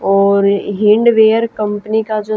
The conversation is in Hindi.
और हिण्डबेयर कंपनी का जो--